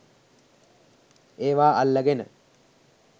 ඒවා අල්ලගෙන